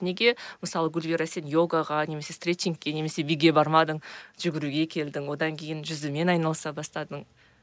неге мысалы гүлвира сен йогаға немесе стретчингке немесе биге бармадың жүгіруге келдің одан кейін жүзумен айналыса бастадың